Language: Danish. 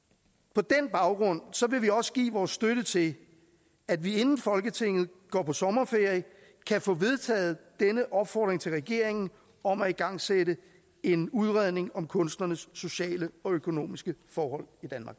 på den baggrund vil vi også give vores støtte til at vi inden folketinget går på sommerferie kan få vedtaget denne opfordring til regeringen om at igangsætte en udredning om kunstnernes sociale og økonomiske forhold